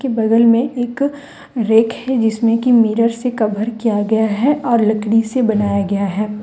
के बगल में एक रैक है जिसमें कि मिरर से कवर किया गया है और लकड़ी से बनाया गया है ।